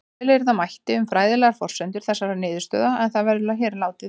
Fjölyrða mætti um fræðilegar forsendur þessarar niðurstöðu en það verður hér látið vera.